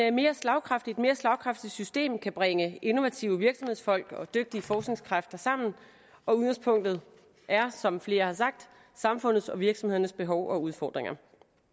et mere slagkraftigt mere slagkraftigt system kan bringe innovative virksomhedsfolk og dygtige forskningskræfter sammen og udgangspunktet er som flere har sagt samfundets og virksomhedernes behov og udfordringer